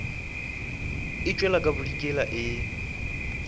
e tšwela ka bodikela e